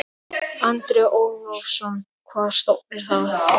Andri Ólafsson: Hvaða stofnun er það?